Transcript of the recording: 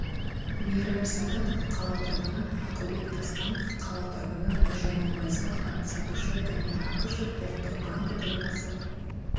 мейрам садықов қала тұрғыны ақылбек дастанов қала тұрғыны нұржамал байзақова сатушы данияр ақышев ұлттық банкі төрағасы